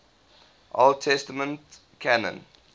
old testament canon